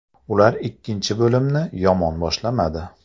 Ular ikkinchi bo‘limni yomon boshlamadi.